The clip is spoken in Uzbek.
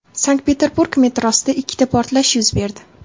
Sankt-Peterburg metrosida ikkita portlash yuz berdi.